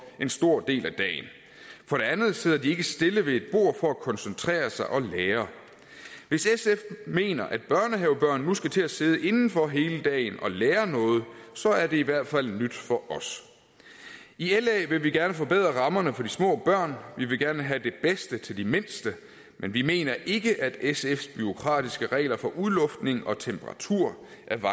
en stor del af dagen for det andet sidder de ikke stille ved et bord for at koncentrere sig og lære hvis sf mener at børnehavebørn nu skal til at sidde indenfor hele dagen og lære noget så er det i hvert fald nyt for os i la vil vi gerne forbedre rammerne for de små børn vi vil gerne have det bedste til de mindste men vi mener ikke at sfs bureaukratiske regler for udluftning og temperatur